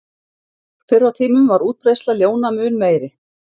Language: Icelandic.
Fyrr á tímum var útbreiðsla ljóna mun meiri.